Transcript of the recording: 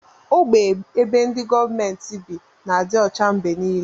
Ogbe ebe ndi gọọmenti bi n'adi ọcha mgbe nile.